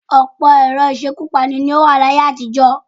Ọ̀pọ̀ ẹ̀rọ ìṣekúpani ní ó wà ní ayé-àtijọ́.